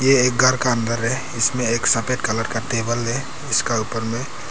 यह एक घर का अंदर है इसमें एक सफेद कलर का टेबल है इसका ऊपर में--